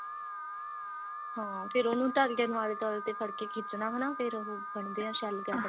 ਹਾਂ ਫਿਰ ਉਹਨੂੰ ਧਾਗੇ ਨੂੰ alter ਤੇ ਫੜ ਕੇ ਖਿੱਚਣਾ ਹਨਾ ਫਿਰ ਉਹ ਬਣਦੇ ਨੇ ਸ਼ਲਗਦ